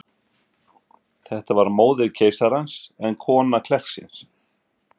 Þetta var móðir meistarans, en kona klerksins.